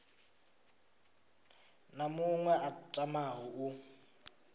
na muṅwe a tamaho u